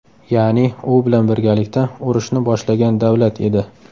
Ya’ni u bilan birgalikda urushni boshlagan davlat edi.